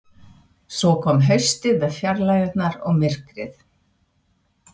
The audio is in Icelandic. Svo kom haustið með fjarlægðirnar og myrkrið.